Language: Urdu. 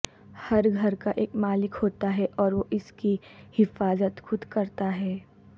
ہر گھر کا ایک مالک ہوتا ہے اور وہ اس کی حفاظت خود کرتا ہے